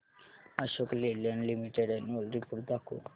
Ashok Leyland limited annual report दाखव